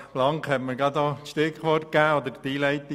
Blank hat mir gerade das Stichwort gegeben: